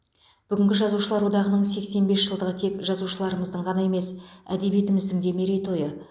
бүгінгі жазушылар одағының сексен бес жылдығы тек жазушыларымыздың ғана емес әдебиетіміздің де мерейтойы